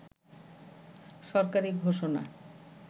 সরকারি ঘোষণা